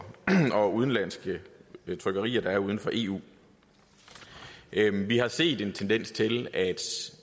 udenlandske trykkerier der er uden for eu vi har set en tendens til at